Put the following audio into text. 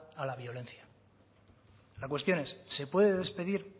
a la violencia la cuestión es se puede despedir